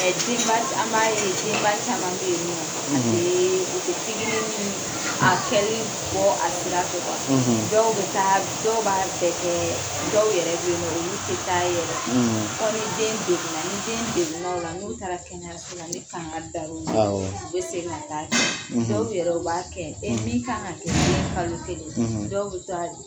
Ɛ denba caman ye denba caman bɛ yen ni nɔ a teee u tɛ pigiri ni a kɛli bɔ a sira fɛ dɔw bɛ taa dɔw b'a bɛɛ kɛɛ dɔw yɛrɛ bɛ ye ninɔ olu tɛ taa yɛrɛ fɔ ni den degun na ni den degun na ola n'u taara kɛnɛyaso la ni kankari dara u ye awɔ dɔw bɛ segin ka taa dow yɛrɛ b'a kɛ e min kan kɛ kalo kelen dow bɛ taa